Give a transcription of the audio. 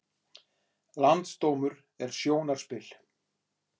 Landsdómur er sjónarspil